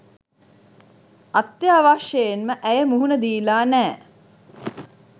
අත්‍යවශ්‍යයෙන්ම ඇය මුහුණ දීලා නෑ.